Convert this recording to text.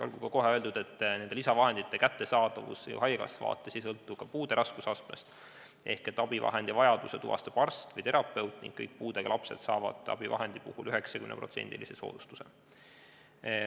Olgu kohe öeldud, et nende lisavahendite kättesaadavus haigekassa vaates ei sõltu puude raskusastmest, ehk abivahendi vajaduse tuvastab arst või terapeut ning kõik puudega lapsed saavad abivahendi puhul 90%-list soodustust.